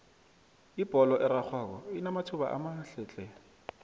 ibholo erarhwako inamathuba amahle tle